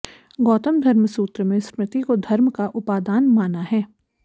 गौतम धर्मसूत्र में स्मृति को धर्म का उपादान माना है